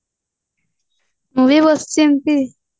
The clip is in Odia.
ମୁଁ ବି ବସିଛି ଏମିତି